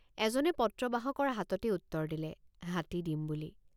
এজনে পত্ৰবাহকৰ হাততেই উত্তৰ দিলে হাতী দিম বুলি।